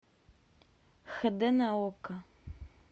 хд на окко